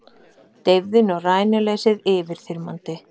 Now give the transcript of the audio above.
Deyfðin og rænuleysið yfirþyrmandi.